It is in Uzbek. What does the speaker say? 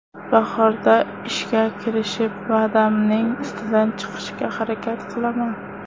Bahorda ishga kirishib, va’damning ustidan chiqishga harakat qilaman.